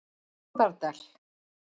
Bárðardal